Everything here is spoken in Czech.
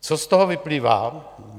Co z toho vyplývá?